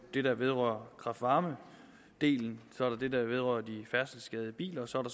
det der vedrører kraft varme delen så er der det der vedrører de færdselsskadede biler og så er